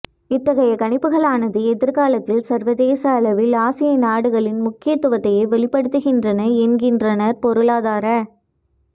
இத்தகைய கணிப்புகளானது எதிர்காலத்தில் சர்வதேச அளவில் ஆசிய நாடுகளின் முக்கியத்துவத்தையே வெளிப்படுத்துகின்றன என்கின்றனர் பொருளாதார